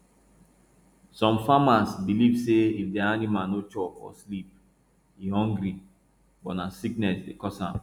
some farmers believe say if their animal no chop or sleep e hungry but na sickness dey cause am